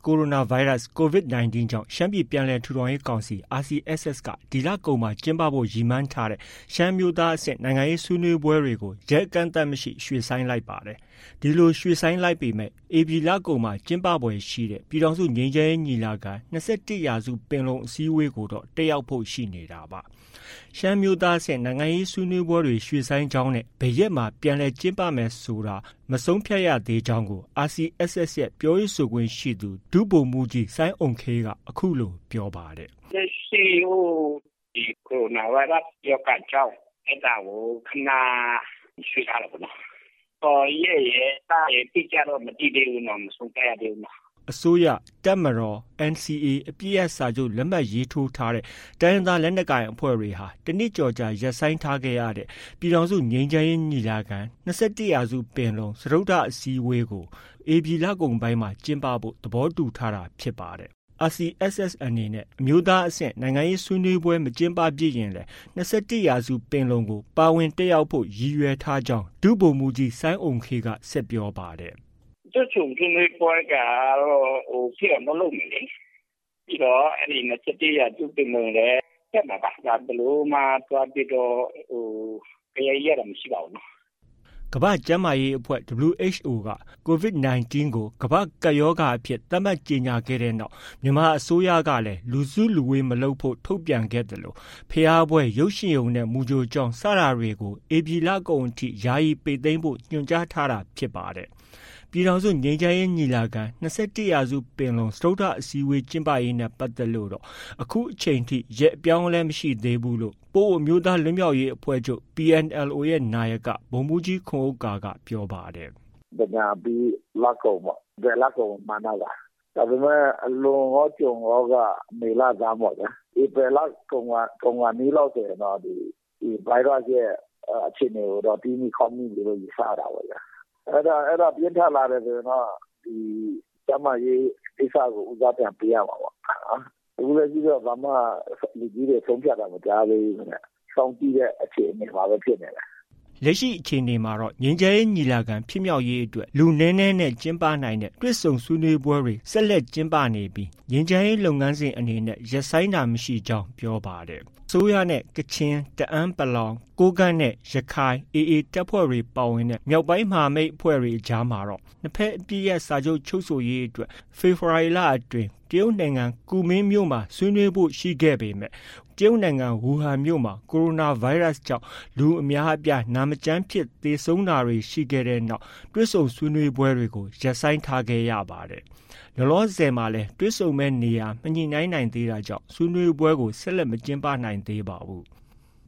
ိုရိုနာဗိုင်းရပ်စ် (Covid-19) ကြောင့် ရှမ်းပြည်ပြန်လည်ထူထောင်ရေးကောင်စီ RCSS က ဒီလကုန်မှာ ကျင်းပဖို့ ရည်မှန်းထားတဲ့ ရှမ်းအမျိုးသားအဆင့် နိုင်ငံရေးဆွေးနွေးပွဲတွေကို ရက်အကန့်အသတ်မရှိ ရွှေ့ဆိုင်းလိုက်ပါတယ်။ ဒီလို ရွှေ့ဆိုင်းလိုက်ပေမဲ့ ဧပြီလကုန်မှာ ကျင်းပဖွယ်ရှိတဲ့ ပြည်ထောင်စု ငြိမ်းချမ်းရေးညီလာခံ- ၂၁ရာစုပင်လုံ အစည်းအဝေးကိုတော့ တက်ရောက်ဖို့ ရှိနေတာပါ။ ရှမ်းအမျိုးသားအဆင့် နိုင်ငံရေးဆွေးနွေးပွဲရွှေ့ဆိုင်းကြောင်းနဲ့ ဘယ်ရက်မှာ ပြန်လည်ကျင်းပမယ်ဆိုတာ မဆုံးဖြတ်ရသေးကြောင်းကို RCSS ရဲ့ ပြောရေးဆိုခွင့်ရှိသူ ဒုဗိုလ်မှုးကြီး စိုင်းအုမ်ခေးက အခုလိုပြောပါတယ်။ “လက်ရှိ ကိုရိုနာဗိုင်းရပ်စ် ရောဂါကြောင့် အဲဒါကို ခဏ ရွှေ့ထားတာပေါ့နော်။ ရက်ရယ်၊ လရယ် အတိအကျတော့ မသိသေးဘူးနော်။ မဆုံးဖြတ်ရသေးဘူးနော်။” အစိုးရ၊ တပ်မတော်နဲ့ NCA အပစ်ရပ်စာချုပ် လက်မှတ်ရေးထိုးထားတဲ့ တိုင်းရင်းသားလက်နက်ကိုင်အဖွဲ့တွေဟာ တနှစ်ကျော်ကြာ ရပ်ဆိုင်းထားရတဲ့ ပြည်ထောင်စုငြိမ်းချမ်းရေးညီလာခံ - ၂၁ရာစု ပင်လုံ စတုတ္ထအစည်းအဝေးက ဧပြီလကုန်ပိုင်းမှာ ကျင်းပဖို့ သဘောတူထားတာဖြစ်ပါတယ်။ RCSS အနေနဲ့ အမျိုးသားအဆင့် နိုင်ငံရေးဆွေးနွေးပွဲ မကျင်းပဖြစ်ရင်လည်း ၂၁ ရာစုပင်လုံကို ပါဝင်တက်ရောက်ဖို့ ရည်ရွယ်ထားကြောင်း ဒုဗိုလ်မှုးကြီး စိုင်းအုမ်ခေးက ဆက်ပြောပါတယ်။ “တွေ့ဆုံဆွေးနွေးပွဲက ဖြစ်အောင်တော့ လုပ်မယ်လေ။ ပြီးတော့ ၂၁ ရာစုပင်လုံလည်း တက်မှာပါ။ ဘယ်လိုမှ သွားပြီးတော့ ဂယက် ရိုက်တာ မရှိပါဘူးနော။” ကမ္ဘာ့ကျန်းမာရေးအဖွဲ့ WHO က Covid-19 ကို ကမ္ဘာ့ကပ်ရောဂါအဖြစ်သတ်မှတ်ကြေညာခဲ့တဲ့နောက် ြမန်မာနိုင်ငံအစိုးရကလည်း လူစုလူဝေးမလုပ်ဖို့ ထုတ်ပြန်ခဲ့သလို ဘုရားပွဲ၊ ရုပ်ရှင်ရုံနဲ့ မူကြိုကျောင်း စတာတွေ ဧပြီလကုန်အထိ ယာယီပိတ်သိမ်းဖို့ ညွှန်ကြားထားတာဖြစ်ပါတယ်။ ပြည်ထောင်စုငြိမ်းချမ်းရေးညီလာခံ - ၂၁ရာစု ပင်လုံ စတုတ္ထအစည်းအဝေးကျင်းပရေးနဲ့ပတ်သက်လို့တော့ အခုချိန်အထိ ရက်အပြောင်းအလဲ မရှိသေးဘူးလို့လည်း ပအိုဝ်းအမျိုးသားလွတ်မြောက်ရေးအဖွဲ့ချုပ် PNLO နာယက ဗိုလ်မှုးကြီး ခွန်ဥက္ကာက ပြောပါတယ်။ “သင်္ကြန်အပြီး လကုန်ပေါ့။ ဧပြီလကုန်ကို မှန်းထားပါတယ်။ ဒါပေမဲ့ လွန်ရော ကျွံရောက မေလဆန်းပေါ့ဗျာ။ ဧပြီလကုန်ခါနီးလောက်ဆိုရင်တော့ ဒီ ဗိုင်းရပ်စ်ရဲ့အခြေအနေကိုတော့ တီးမိခေါက်မိပြီလို့ ယူဆရတာပေါ့ဗျာ။ အဲဒါ ပြင်းထန်လာတယ်ဆိုရင်တော့ ကျန်းမာရေးကိစ္စကို ဦးစားပြန်ပေးရမှာပေါ့ဗျာ။ အခုထိတော့ ဘာမှ လူကြီးတွေ ဆုံးဖြတ်ထားတာမရှိသေးဘူးခင်ဗျ။ စောင့်ကြည့်တဲ့အခြေအနေမှာပဲ ဖြစ်နေတယ်။” လက်ရှိအခြေအနေမှာတော့ ငြိမ်းချမ်းရေးညီလာခံဖြစ်မြောက်ရေးအတွက် လူနည်းနည်းနဲ့ ကျင်းပနိုင်တဲ့ တွေ့ဆုံဆွေးနွေးပွဲတွေ ဆက်လက်ကျင်းပနေပြီး ငြိမ်းချမ်းရေးလုပ်ငန်းစဉ်အနေနဲ့ ရပ်ဆိုင်းတာမရှိကြောင်း ပြောပါတယ်။ အစိုးရနဲ့ ကချင်၊ တအန်း(ပလောင်)၊ ကိုးကန့်နဲ့ ရခိုင်(AA) တပ်ဖွဲ့ ပါဝင်တဲ့ မြောက်ပိုင်းမဟာမိတ်အဖွဲ့တွေ အကြားမှာတော့ နှစ်ဘက်အပစ်ရပ်စာချုပ်ချုပ်ဆိုရေးအတွက် ဖေဖော်ဝါရီလအတွင်း တရုတ်နိုင်ငံ ကူမင်းမြို့မှာ ဆွေးနွေးဖို့ ရှိခဲ့ပေမဲ့ တရုတ်နိုင်ငံ ဝူဟန်မြို့မှာ ကိုရိုနာဗိုင်းရပ်စ်ကြောင့် လူအများအပြား နာမကျန်းဖြစ် သေဆုံး တာတွေဖြစ်ခဲ့တဲ့ တွေ့ဆုံဆွေးနွေးပွဲတွေကို ရပ်ဆိုင်းထားခဲ့ရပါတယ်။ လောလောဆယ်မှာလည်း တွေ့ဆုံမယ့် နေရာ မညှိနှိုင်းနိုင်သေးတာကြောင့် ဆွေးနွေးပွဲကို ဆက်လက် မကျင်းပနိုင်သေးပါဘူး။